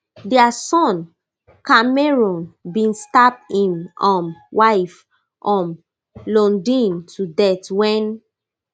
dia son cameron bin stab im um wife um lundeen to death wen